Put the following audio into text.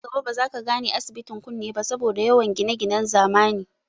Nan gaba ba za ka gane, asibitin kunne ba saboda yawan gineginen zamani